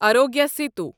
Arogya Setu